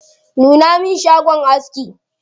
Nuna min shagon aski.